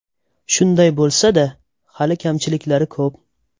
Shunday bo‘lsa-da, hali kamchiliklari ko‘p.